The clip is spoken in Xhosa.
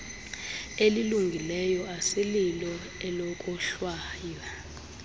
elilungileyo asililo elokohlwaya